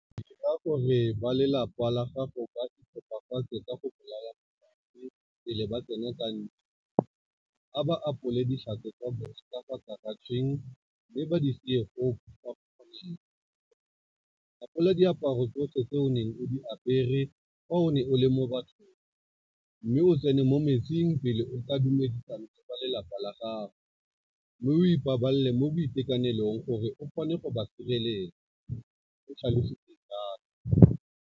"Dira gore ba lapa la gago ba iphepafatse ka go bolaya megare pele ba tsena ka ntlo, a ba apolele ditlhako tsa bona ka fa karatšheng mme ba di sie foo fa go kgonega, apola diaparo tsotlhe tse o neng o di apere fa o ne o le mo bathong mme o tsene mo metsing pele o ka dumedisana le ba lelapa la gago mme o ipabalele mo boitekanelong gore o kgone go ba sireletsa," o tlhalositse jalo.